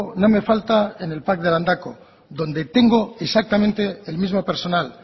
no me falta en el pac de landako donde tengo exactamente el mismo personal